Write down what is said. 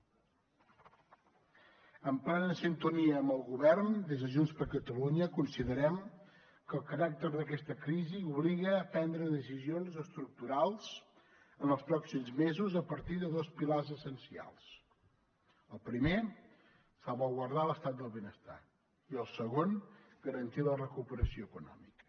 en plena sintonia amb el govern des de junts per catalunya considerem que el caràcter d’aquesta crisi obliga a prendre decisions estructurals en els pròxims mesos a partir de dos pilars essencials el primer salvaguardar l’estat del benestar i el segon garantir la recuperació econòmica